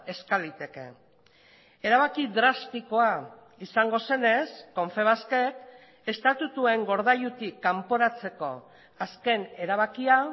eska liteke erabaki drastikoa izango zenez confebaskek estatutuen gordailutik kanporatzeko azken erabakia